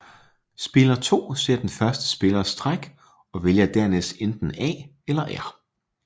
Spiller 2 ser den første spillers træk og vælger dernæst enten A eller R